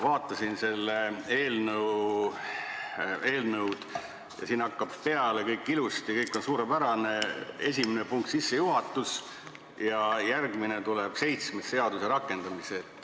Vaatasin seda eelnõu, siin hakkab peale kõik ilusti, kõik on suurepärane, esimene punkt on sissejuhatus, aga järgmisena tuleb seitsmes, seaduse rakendamine.